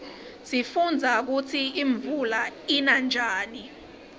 sifundza kutsi imvula ina njani